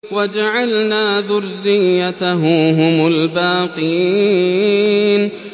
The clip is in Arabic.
وَجَعَلْنَا ذُرِّيَّتَهُ هُمُ الْبَاقِينَ